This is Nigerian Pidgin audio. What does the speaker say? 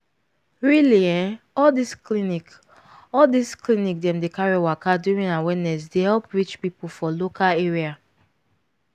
really eh all this clinic all this clinic dem dey carry waka during awareness dey help reach people for local area.